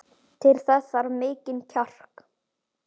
Til þess þarf mikinn kjark.